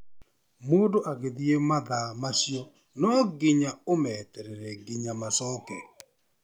Mũndũ agĩthi mathaa macio no nginya ũmeterere nginya macoke.